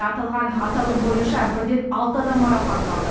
аталған аталым бойынша бірден алты адам марапатталды